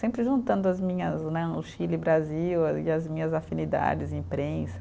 Sempre juntando as minhas né, o Chile e o Brasil a e as minhas afinidades, imprensa.